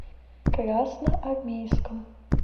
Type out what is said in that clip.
красноармейском